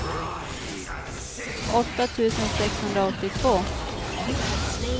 åtta tusen sexhundraåttiotvå